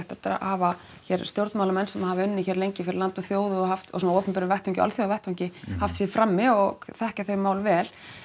að hafa hér stjórnmálamenn sem hafa unnið lengi fyrir land og þjóð og haft og á svona opinberum vettvangi og alþjóðavettvangi haft sig í frammi og þekkja þau mál vel